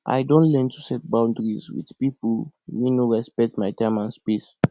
i don learn to set boundaries with people wey no respect my time and space